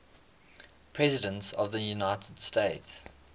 presidents of the united states